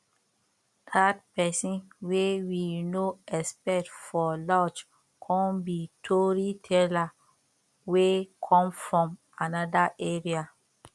dat pesin wey we no expect for lodge com be tori teller wey come from another area